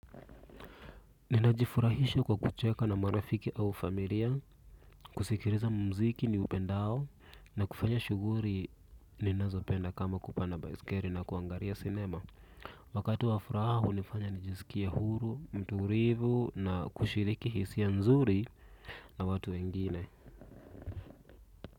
Ninajifurahisha kwa kucheka na marafiki au familia kusikiliza mziki ni upendao na kufanya shughuli ninazopenda kama kupanda baiskeli na kuangalia cinema. Wakati wa furaha unifanya nijisikie huru mtulivu na kushiriki hisia nzuri na watu wengine.